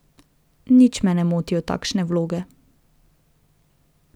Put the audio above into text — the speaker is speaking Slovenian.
Nič me ne motijo takšne vloge.